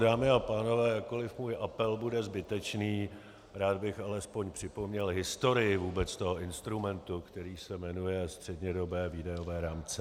Dámy a pánové, jakkoliv můj apel bude zbytečný, rád bych alespoň připomněl historii vůbec toho instrumentu, který se jmenuje střednědobé výdajové rámce.